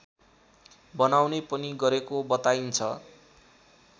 बनाउने पनि गरेको बताइन्छ